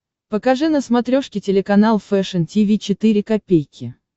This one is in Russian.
покажи на смотрешке телеканал фэшн ти ви четыре ка